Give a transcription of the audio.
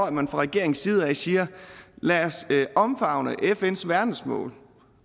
at man fra regeringens side siger lad os favne fns verdensmål